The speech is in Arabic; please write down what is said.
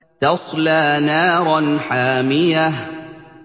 تَصْلَىٰ نَارًا حَامِيَةً